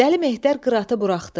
Dəli Mehdir qıratı buraxdı.